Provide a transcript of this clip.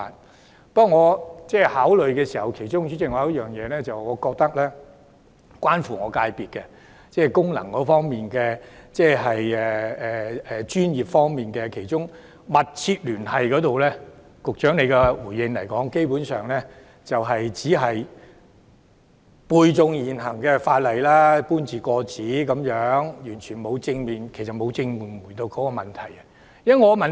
主席，但我在考慮時，認為其中一點是關乎我的界別，即是功能界別的專業團體方面，局長就"密切聯繫"這項條件作回應時，基本上只是背誦現行法例，搬字過紙，完全沒有正面回應問題。